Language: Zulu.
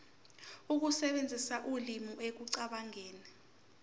ukusebenzisa ulimi ekucabangeni